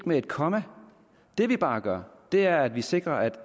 med et komma det vi bare gør er at vi sikrer at